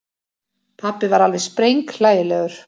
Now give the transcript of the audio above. Pabbi var alveg sprenghlægilegur.